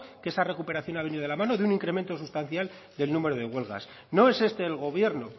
que esa recuperación ha venido de la mano de un incremento sustancial del número de huelgas no es este el gobierno